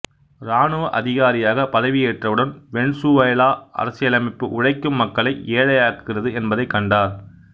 இராணுவ அதிகாரியாக பதவியேற்றவுடன் வெனிசுவேலா அரசியலமைப்பு உழைக்கும் மக்களை ஏழையாக்குகிறது என்பதைக் கண்டார்